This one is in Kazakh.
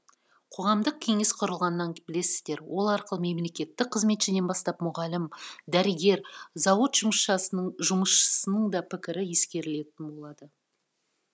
қоғамдық кеңес құрылғанын білесіздер ол арқылы мемлекеттік қызметшіден бастап мұғалім дәрігер зауыт жұмысшысының да пікірі ескерілетін болады